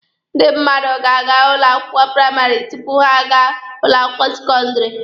Ndị mmadụ ga-aga ụlọ akwụkwọ praịmarị tupu ha a gaa ụlọ akwụkwọ sekọndịrị.